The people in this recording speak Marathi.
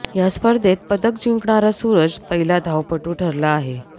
या स्पर्धेत पदक जिंकणारा सुरज पहिला धावपटू ठरला आहे